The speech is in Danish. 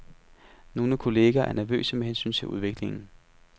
Nogle kolleger er nervøse med hensyn til udviklingen.